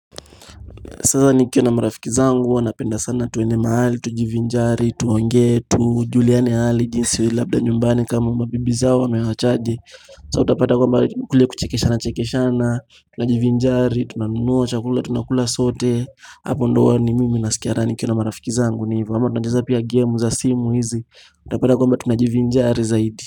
Sasa nikiwa na marafiki zangu, wanapenda sana tuende mahali, tujivinjari, tuongee tujuliane hali, jinsi labda nyumbani kama mabibi zao wamewaachaje Sasa utapata kwamba kule kuchekeshana chekeshana, tunajivinjari, tunanunua, chakula, tunakula sote Hapo ndo huwa mimi nasikia raha nikiwa na marafiki zangu ni hivyo, ama tunacheza pia gemu za simu hizi, tunapata kwamba tunajivinjari zaidi.